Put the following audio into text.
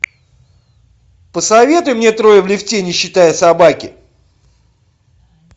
посоветуй мне трое в лифте не считая собаки